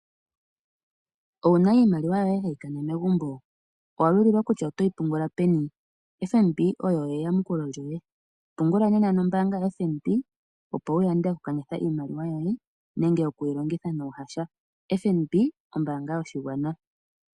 Owuna iimaliwa yoye hayi kana megumbo? Owa lulilwa kutya otoyi pungula peni? FNB oyo eyamukulo lyoye. Pungula nena nombaanga yoFNB opo wuyande oku kanitha iimaliwa yoye, nenge oku yi longitha nuuhasha. FNB, ombaanga yoshigwana.